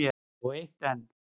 Og eitt enn.